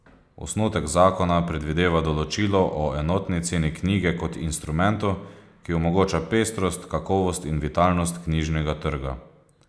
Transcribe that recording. Osnutek zakona predvideva določilo o enotni ceni knjige kot instrumentu, ki omogoča pestrost, kakovost in vitalnost knjižnega trga.